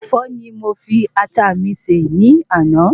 Ẹ̀fọ́ ni mo fi Ata mi se ní àná